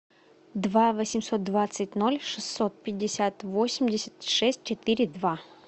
два восемьсот двадцать ноль шестьсот пятьдесят восемьдесят шесть четыре два